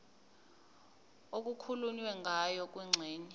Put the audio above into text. okukhulunywe ngayo kwingxenye